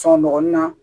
Sɔgɔli na